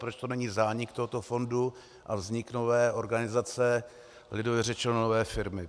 Proč to není zánik tohoto fondu a vznik nové organizace, lidově řečeno, nové firmy?